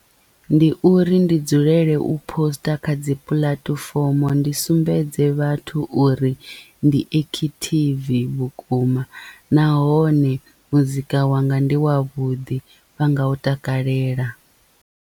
Ndi uri ndi dzulele u poster kha dzi puḽatifomo ndi sumbedze vhathu uri ndi ekhithivi vhukuma nahone muzika wanga ndi wavhuḓi vha nga u takalela.